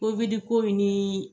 Mbili ko min ni